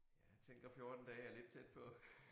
Jeg tænker 14 dage er lidt tæt på